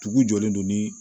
Dugu jɔlen don ni